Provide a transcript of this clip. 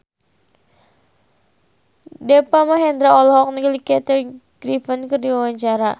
Deva Mahendra olohok ningali Kathy Griffin keur diwawancara